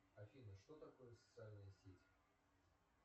афина что такое социальные сети